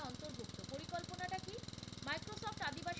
microsoft Adivasi